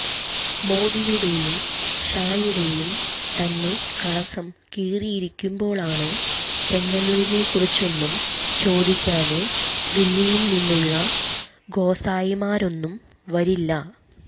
മോദിയുടെയും ഷായുടെയും തന്നെ കളസം കീറിയിരിക്കുമ്പോള് ചെങ്ങന്നൂരിനെക്കുറിച്ചൊന്നും ചോദിക്കാന് ദില്ലിയില് നിന്നുള്ള ഗോസായിമാരൊന്നും വരില്ല